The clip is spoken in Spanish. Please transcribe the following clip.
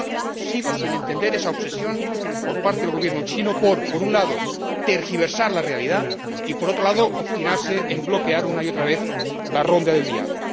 Y por ello, sigo sin entender esa obsesión por parte del Gobierno chino por, por un lado, tergiversar la realidad y, por otro lado, obstinarse en bloquear una y otra vez la ronda del diálogo.